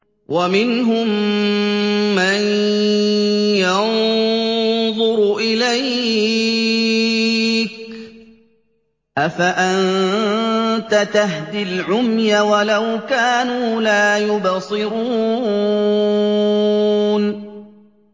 وَمِنْهُم مَّن يَنظُرُ إِلَيْكَ ۚ أَفَأَنتَ تَهْدِي الْعُمْيَ وَلَوْ كَانُوا لَا يُبْصِرُونَ